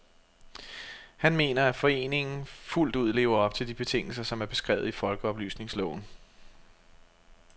Han mener, at foreningen fuldt ud lever op til de betingelser, som er beskrevet i folkeoplysningsloven.